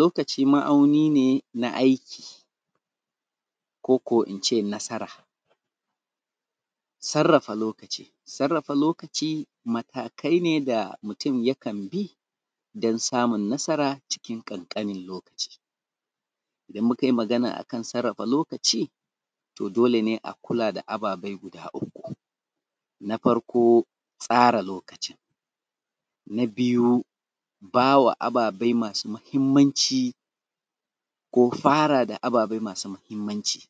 Lokaci ma’auni ne na aiki koko in ce nasara. Sarrafa lokaci, sarrafa lokaci matakai ne da mutum ya kan bi dan samun nasara cikin ƙanƙanin lokaci, idan muka yi magana akan sarrafa lokaci to dole ne in a kula da ababe guda uku na farko tsarin lokacin, na biyu bawa ababai masu mahimmanci ko fara da ababai masu mahimmanci,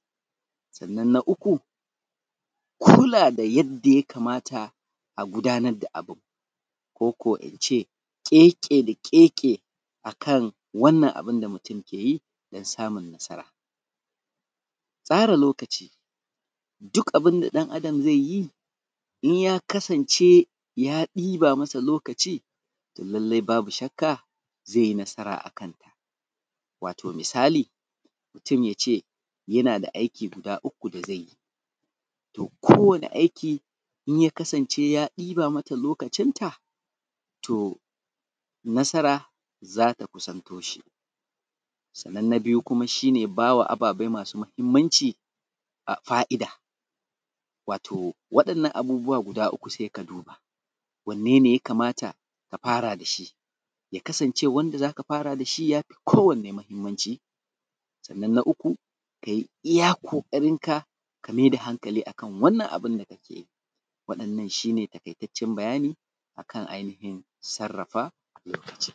sannan na uku kula da yadda ya kamata a gudanar da abun koko in ce ƙeƙe-da-ƙeƙe akan wannan abun da mutum ke yi dan samun nasara. Tsara lokaci duk abun da ɗan’Adam zai yi in ya kasance ya ɗiba masa lokci to lallai babu shakka zai yi nasara a kanta, wato misali mutum ya ce yana aiki guda uku da zai yi to kowane aiki in ya kasance ya ɗiba mata lokacinta to nasara za ta kusanto shi, sannan na biyu shi ne ba ma ababe masu mahimmanci fa’ida wato waɗannan abubuwa guda uku sai ka duba wanne ne ya kamata a fara da shi, kasancewa wanda za ka fara da shi ya fi kowanne mahimmanci, sannnan na uku ka yi iya ƙoƙarinka ka maida hankali akan wannan abun da kake yi. Waɗannan shi ne taƙaitaccen bayani a kan ainihin sarrafa lokaci.